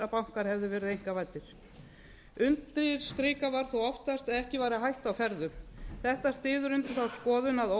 bankar hefðu verið einkavæddir undirstrikað var þó oftast að ekki væri hætta á ferðum þetta styður undir þá skoðun að